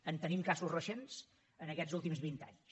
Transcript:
en tenim casos recents en aquests últims vint anys